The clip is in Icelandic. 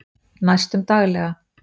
Næstum daglega